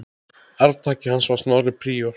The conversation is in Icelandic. Arftaki hans var Snorri príor.